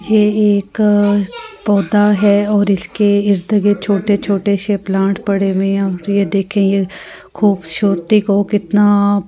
ये एक पौधा है और इसके छोटे छोटे से प्लांट पड़े हुए है ये देखे ख़ूबसूरती को कितना --